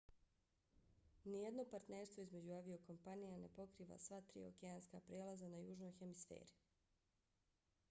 nijedno partnerstvo između aviokompanija ne pokriva sva tri okeanska prijelaza na južnoj hemisferi a skyteam ne pokriva ni jedan od prijelaza